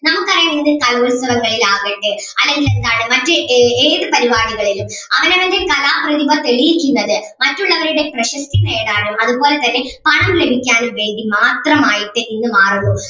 നമുക്ക് അറിയാം ഇത് കലോത്സവങ്ങളിൽ ആകട്ടെ അല്ലെങ്കിൽ എന്താണ് മറ്റ് ഏ ഏത് പരിപാടികളിലും അവനവൻ്റെ കലാപ്രതിഭ തെളിയിക്കുന്നത് മറ്റുള്ളവരുടെ പ്രശസ്തി നേടാനും അതുപോലെ തന്നെ പണം ലഭിക്കാനും വേണ്ടി മാത്രമായിട്ട് ഇത് മാറുന്നു.